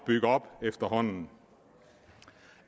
bygge op efterhånden